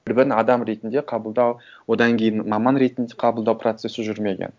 бір бірін адам ретінде қабылдау одан кейін маман ретінде қабылдау процесі жүрмеген